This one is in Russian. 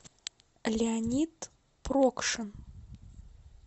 леонид прокшин